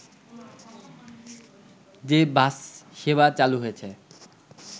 যে বাস সেবা চালু হয়েছে